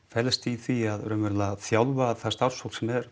felst í því raunverulega að þjálfa það starfsfólk sem er